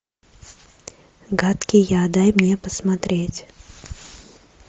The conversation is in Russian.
гадкий я дай мне посмотреть